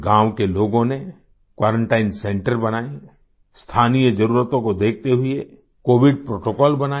गाँव के लोगों ने क्वारंटाइन centreबनाए स्थानीय ज़रूरतों को देखते हुए कोविड प्रोटोकॉल बनाए